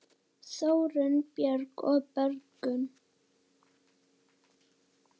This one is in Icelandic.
Þórunn Björk og Börkur.